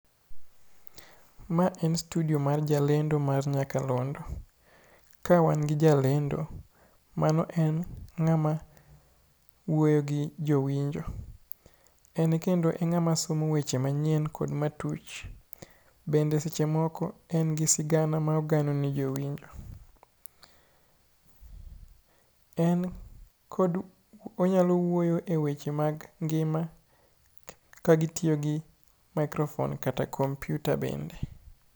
Ma en studio mar jalendo mar nyakalondo. Ka wan gi jalendo. Mano en ng'ama wuoyo gi jowinjo. En kendo e ng'ama somo weche manyien kod matuch. Bende seche moko en gi sigana ma ogano ne jowinjo. En kod onyalo wuoyo e weche mag ngima kagitiyo gi microphone kata kompiuta bende.